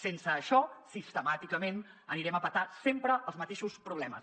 sense això sistemàticament anirem a petar sempre als mateixos problemes